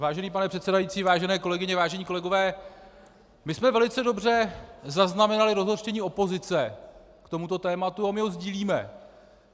Vážený pane předsedající, vážené kolegyně, vážení kolegové, my jsme velice dobře zaznamenali rozhořčení opozice k tomuto tématu a my ho sdílíme.